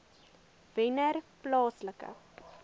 wennerplaaslike